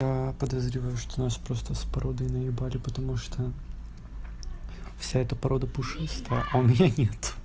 подозреваю что у нас просто с породой наебали потому что вся эта порода пушистая а у меня нет